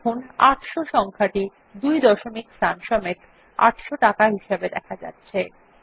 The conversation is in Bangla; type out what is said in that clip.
দেখুন ৮০০ সংখ্যাটি ২ দশমিক স্থান সমেত ৮০০ টাকা হিসাবে দেখা যাচ্ছে